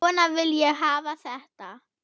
Svona vil ég hafa þetta.